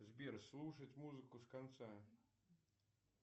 сбер слушать музыку с конца